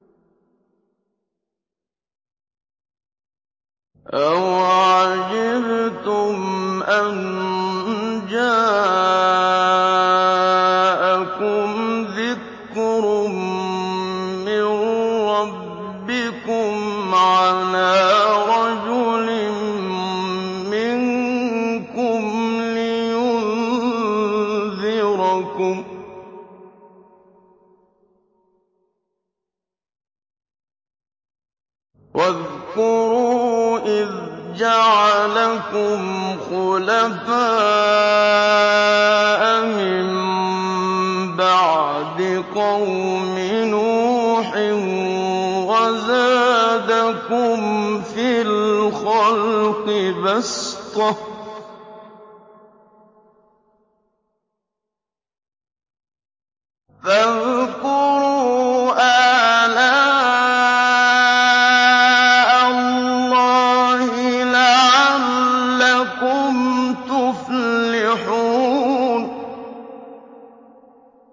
أَوَعَجِبْتُمْ أَن جَاءَكُمْ ذِكْرٌ مِّن رَّبِّكُمْ عَلَىٰ رَجُلٍ مِّنكُمْ لِيُنذِرَكُمْ ۚ وَاذْكُرُوا إِذْ جَعَلَكُمْ خُلَفَاءَ مِن بَعْدِ قَوْمِ نُوحٍ وَزَادَكُمْ فِي الْخَلْقِ بَسْطَةً ۖ فَاذْكُرُوا آلَاءَ اللَّهِ لَعَلَّكُمْ تُفْلِحُونَ